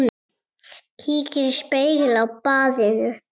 Kíkir í spegil á baðinu.